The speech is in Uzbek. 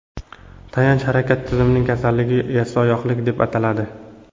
Tayanch harakat tizimining kasalligi – yassioyoqlik deb ataladi.